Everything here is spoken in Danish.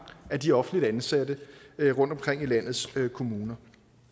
af de offentligt ansatte rundtomkring i landets kommuner